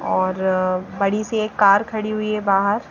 और बड़ी सी एक कार खड़ी हुई है बाहर।